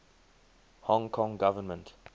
hong kong government